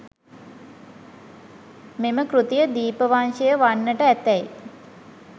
මෙම කෘතිය දීපවංශය වන්නට ඇතැයි